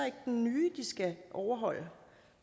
ikke den nye de skal overholde